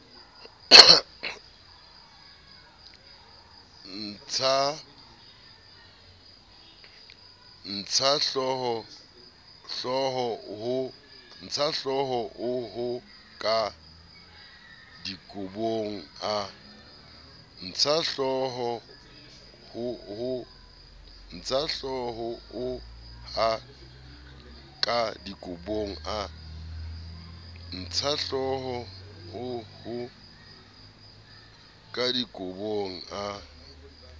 a ntshahlooho ka dikobong a